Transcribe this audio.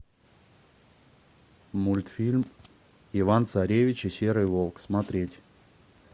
мультфильм иван царевич и серый волк смотреть